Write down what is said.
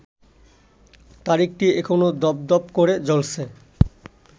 তারিখটি এখনো দপদপ করে জ্বলছে